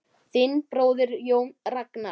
Þinn bróðir, Jón Ragnar.